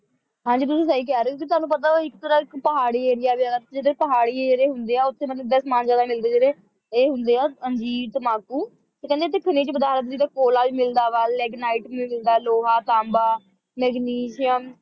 ਹਾਂ ਜੀ ਤੁਸੀਂ ਸਹੀ ਕਹਿ ਰਹੇ ਹੋ ਕਿਉਂਕਿ ਤੁਹਾਨੂੰ ਪਤਾ ਵਾ ਇੱਕ ਤਰ੍ਹਾਂ ਦਾ ਇੱਕ ਪਹਾੜੀ ਏਰੀਆ ਵੀ ਹੈਗਾ ਜਿੱਦਾਂ ਪਹਾੜੀ ਏਰੀਆ ਹੁੰਦੇ ਹੈ ਉੱਥੇ ਇੱਦਾਂ ਦਾ ਸਮਾਨ ਜਿਆਦਾ ਮਿਲਦਾ ਹੈ ਜਿਵੇਂ ਇਹ ਹੁੰਦੇ ਆ ਅੰਜੀਰ ਤੰਬਾਕੂ ਕਹਿੰਦੇ ਇੱਥੇ ਖਣਿਜ ਪਦਾਰਥ ਜਿਵੇਂ ਕੋਲਾ ਵੀ ਮਿਲਦਾ ਵਾ ਲੇਗਨਾਈਟ ਵੀ ਮਿਲਦਾ ਵਾ ਲੋਹਾ ਤਾਂਬਾ ਮੈਗਨੀਸ਼ੀਅਮ